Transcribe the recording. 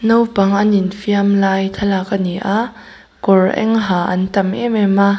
naupang an infiam lai thlalak ani a kawr eng ha an tam em em a.